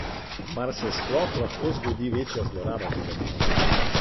Mar se sploh lahko zgodi večja zloraba tega medija?